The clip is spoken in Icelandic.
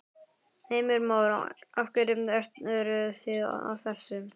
Heimir Már: Af hverju eru þið að þessu?